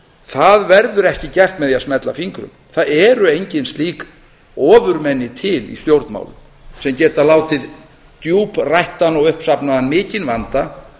það verður ekki gert með því að smella fingrum það eru engin slík ofurmenni til í stjórnmálum sem geta látið djúprættan og uppsafnaðan mikinn vanda